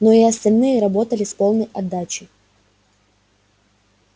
но и остальные работали с полной отдачей